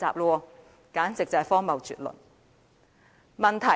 這簡直是荒謬絕倫。